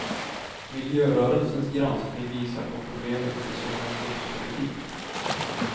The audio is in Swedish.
Miljörörelsens granskning visar på problemet med subventionspolitik.